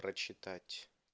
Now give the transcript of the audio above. прочитать